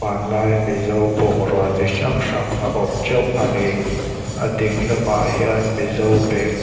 hmanlai mizo bungrua chi hrang hrang a awm teuh ani a ding lamah hian mizo bag --